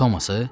Tomması?